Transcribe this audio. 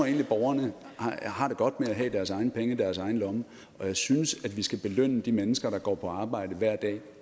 at borgerne har det godt med at have deres egne penge i deres egne lommer og jeg synes at vi skal belønne de mennesker der går på arbejde hver dag